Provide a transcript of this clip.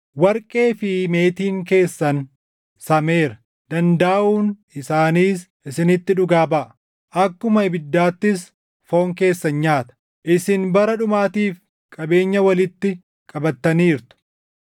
Warqee fi meetiin keessan sameera. Dandaaʼuun isaaniis isinitti dhugaa baʼa; akkuma ibiddaattis foon keessan nyaata. Isin bara dhumaatiif qabeenya walitti qabattaniirtu.